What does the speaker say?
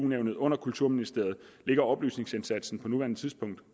nævnet under kulturministeriet ligger oplysningsindsatsen på nuværende tidspunkt